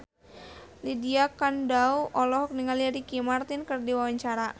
Lydia Kandou olohok ningali Ricky Martin keur diwawancara